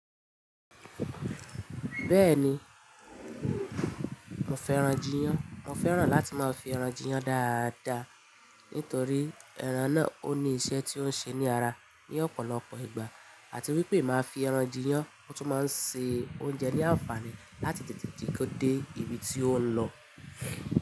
Bẹ́ẹ̀ni, mo fe ran jiyán. Mo fẹ́ran láti máa fi ẹran jiyán dáadáa nítorí ẹran náà ó ní iṣẹ́ tó ń ṣe ní ara ní ọ̀pọ̀lọpọ̀ ìgbà àti wípé máa fi ẹran jiyán mo tún máa ń se oúnjẹ ní àǹfààní láti tètè ti kó dé ibi tí ó ń lọ.